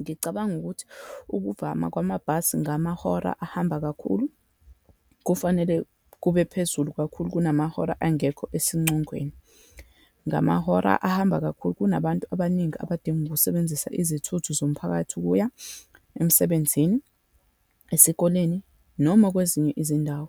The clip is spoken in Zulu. Ngicabanga ukuthi ukuvama kwamabhasi ngamahora ahamba kakhulu, kufanele kube phezulu kakhulu kunamahora angekho esincongweni. Ngamahora ahamba kakhulu, kunabantu abaningi abadinga ukusebenzisa izithuthi zomphakathi ukuya emsebenzini, esikoleni, noma kwezinye izindawo.